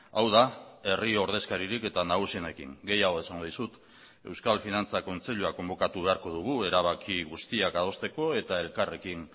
hau da herri ordezkaririk eta nagusienekin gehiago esango dizut euskal finantza kontseilua konbokatu beharko dugu erabaki guztiak adosteko eta elkarrekin